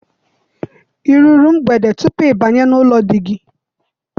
I ruru mgbede tupu ị banye n'ụlọ di gị?